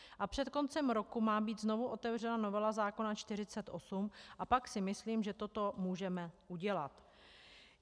A před koncem roku má být znovu otevřena novela zákona 48 a pak si myslím, že toto můžeme udělat.